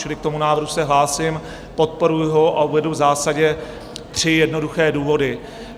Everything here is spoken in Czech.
Čili k tomu návrhu se hlásím, podporuju ho a uvedu v zásadě tři jednoduché důvody.